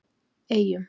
Eyjum